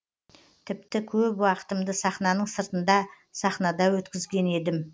тіпті көп уақытымды сахнаның сыртында сахнада өткізген едім